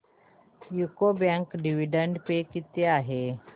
UCO bank dividend pay किती आहे